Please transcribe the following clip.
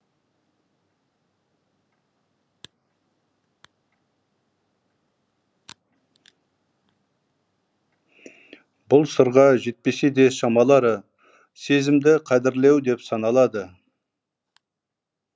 бұл сырға жетпесе де шамалары сезімді қадірлеу деп саналады